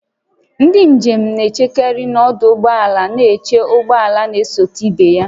Ndị njem na-echekarị n'ọdụ ụgbọ ala na-eche ụgbọ ala na-esote ịbanye